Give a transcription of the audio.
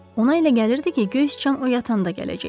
Ona elə gəlirdi ki, göy siçan o yatanda gələcək.